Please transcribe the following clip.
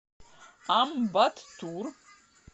амбаттур